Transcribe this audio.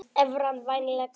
Evran vænlegasti kosturinn